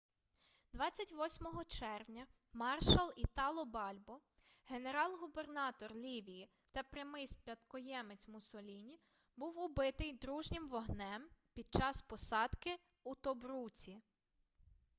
28 червня маршал італо бальбо генерал-губернатор лівії та прямий спадкоємець муссоліні був убитий дружнім вогнем під час посадки у тобруці